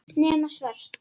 Nema svört.